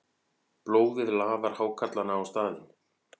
Blóðið laðar hákarlana á staðinn.